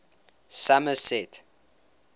somerset